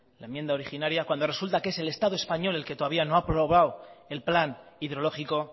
la enmienda originaria cuando resulta que es el estado español el que todavía no ha aprobado el plan hidrológico